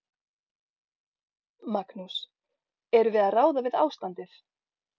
Magnús: Erum við að ráða við ástandið?